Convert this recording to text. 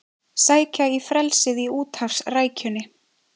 Sækja í frelsið í úthafsrækjunni